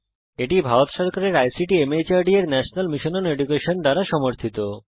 এটি ভারত সরকারের ICT MHRD এর ন্যাশনাল মিশন ওন এডুকেশন দ্বারা সমর্থিত